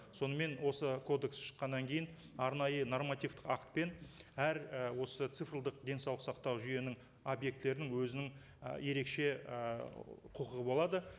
сонымен осы кодекс шыққаннан кейін арнайы нормативтік актпен әр і осы цифрлық денсаулық сақтау жүйенің объектілерінің өзінің і ерекше і құқығы болады